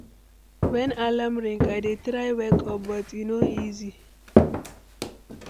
Wen alarm ring, I dey try wake up, but e no easy.